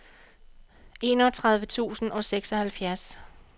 enogtredive tusind og seksoghalvfjerds